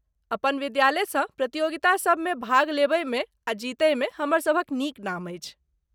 अपन विद्यालयसँ प्रतियोगितासभमे भाग लेबयमे आ जीतयमे हमर सभक नीक नाम अछि।